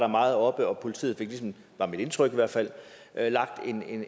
meget oppe og politiet fik ligesom var mit indtryk i hvert fald lagt